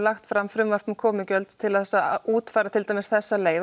lagt fram frumvarp um komugjöld til þess að útfæra til dæmis þessa leið